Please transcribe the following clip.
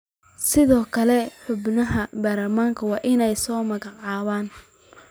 Sidoo kale xubnaha baarlamaanka waa in ay soo magacaabaan.